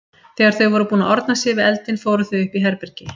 Þegar þau voru búin að orna sér við eldinn fóru þau upp í herbergi.